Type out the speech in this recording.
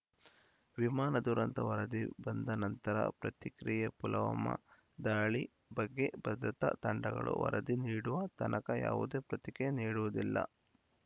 ವಿಮಾನ ದುರಂತ ವರದಿ ಬಂದ ನಂತರ ಪ್ರತಿಕ್ರಿಯೆ ಪುಲವ್ಮ್ ದಾಳಿ ಬಗ್ಗೆ ಭದ್ರತಾ ತಂಡಗಳು ವರದಿ ನೀಡುವ ತನಕ ಯಾವುದೇ ಪ್ರತಿಕ್ರಿಯೆ ನೀಡುವುದಿಲ್ಲ